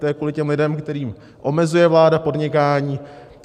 To je kvůli těm lidem, kterým omezuje vláda podnikání.